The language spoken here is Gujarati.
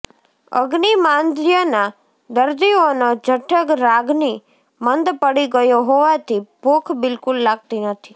અગ્નિમાંદ્યના દર્દીઓનો જઠરાગ્નિ મંદ પડી ગયો હોવાથી ભૂખ બિલકુલ લાગતી નથી